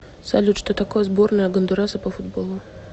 салют что такое сборная гондураса по футболу